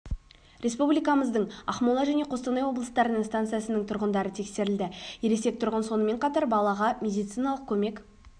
республикамыздың ақмола және қостанай облыстарының станциясының тұрғындары тексерілді ересек тұрғын сонымен қатар балаға медициналық көмек